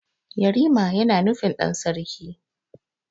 Yarima yana nufin ɗan sarki.